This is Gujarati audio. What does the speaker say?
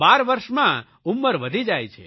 12 વરસમાં ઉંમર વધી જાય છે